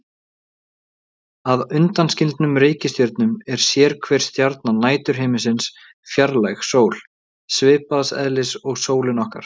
Að undanskildum reikistjörnunum er sérhver stjarna næturhiminsins fjarlæg sól, svipaðs eðlis og sólin okkar.